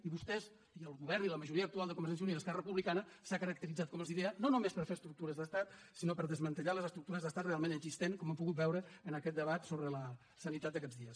i vostès i el govern i la majoria actual de convergència i unió i esquerra republicana s’han caracteritzat com els deia no només per fer estructures d’estat sinó per desmantellar les estructures d’estat realment existents com hem pogut veure en aquest debat sobre la sanitat d’aquests dies